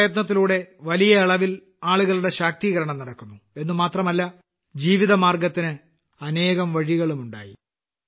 ഈ പ്രയത്നത്തിലൂടെ വലിയ അളവിൽ ആളുകളുടെ ശാക്തീകരണം നടന്നു എന്നു മാത്രമല്ല ജീവിതമാർഗ്ഗത്തിന് അനേകം വഴികളുമുണ്ടായി